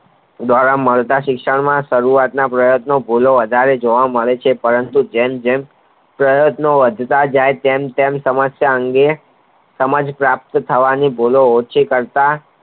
મળતા શિક્ષણ નો સારુવાતના પ્રયાન્તો વધારે જોવા મળે છે પરંતુ જેમ જેમ પ્રયાન્તો વધતા જાય તેમ સમસ્યા અંગે સમાજ પ્રાપ્ત થવાની ભૂલો ઓછી કરતા